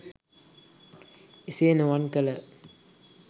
එසේ නොවන් කළ